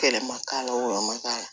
Kɛlɛ ma k'a la wɔyɔ ma k'a la